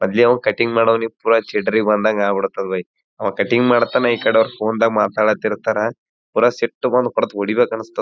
ಅದ್ ಅವ ಕಟಿಂಗ್ ಮಾಡೋವ್ನಿಗ್ ಪುರ ಚಿಡ್ರಿ ಬಂದಂಗ್ ಆಗ್ಬಿಡತ್ ಬೈಯ ಆವಾ ಕಟಿಂಗ್ ಮಾಡ್ತತಾನ ಇಕಡಿ ಅವ್ರ್ ಫೋನ್ದಾಗ ಮಾತಾಡ್ಲರ್ತಾರ ಪುರ ಸಿಟ್ಟು ಬಂದ್ ಹೊಡ್ತ ಒಡಿಬೇಕ್ ಅನ್ನಿಸ್ತದ.